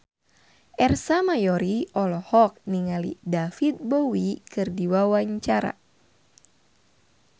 Ersa Mayori olohok ningali David Bowie keur diwawancara